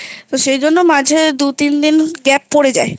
সেই জন্য মাঝে দু তিন দিন Gap পড়ে যায়